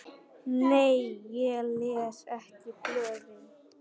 Nei ég les ekki blöðin.